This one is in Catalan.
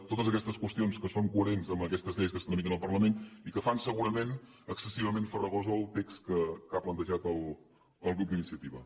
totes aquestes qüestions que són coherents amb aquestes lleis que es tramiten al parlament i que fan segurament excessivament farragós el text que ha plantejat el grup d’iniciativa